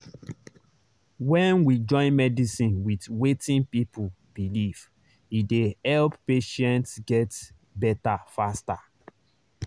when we join medicine with wetin people believe e dey help patients get better faster.